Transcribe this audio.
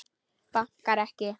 Bankar ekki.